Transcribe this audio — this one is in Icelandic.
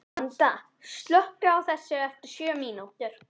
Vanda, slökktu á þessu eftir sjö mínútur.